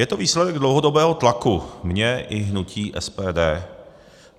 Je to výsledek dlouhodobého tlaku mého i hnutí SPD.